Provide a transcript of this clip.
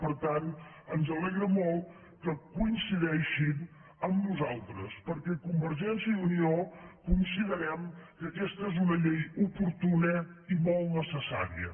per tant ens alegra molt que coincideixin amb nosaltres perquè convergència i unió considerem que aquesta és una llei oportuna i molt necessària